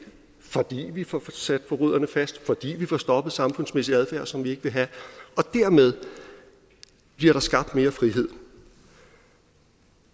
fordi vi får sat forbryderne fast fordi vi får stoppet samfundsmæssig adfærd som vi ikke vil have og dermed bliver der skabt mere frihed